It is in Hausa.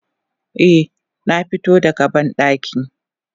Eh zanfito da ga bandaki.